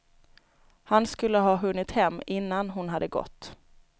Han skulle ha hunnit hem innan hon hade gått.